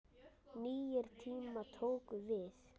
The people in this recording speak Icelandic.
Nýir tímar tóku við.